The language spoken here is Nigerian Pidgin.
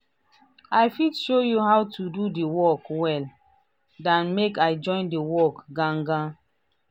i fit show you how to do the work well dan make i join the work gan gan.